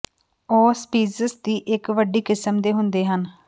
ਉਹ ਸਪੀਸੀਜ਼ ਦੀ ਇੱਕ ਵੱਡੀ ਕਿਸਮ ਦੇ ਹੁੰਦੇ ਹਨ